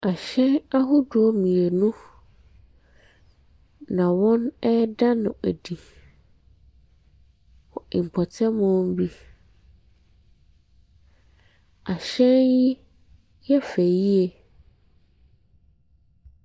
Ahyɛn ahodoɔ mmienu na wɔreda no adi wɔ mpɔtamu bi. Ahyɛn no yɛ fɛ yie.